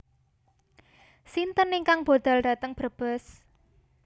Sinten ingkang budal dateng Brebes?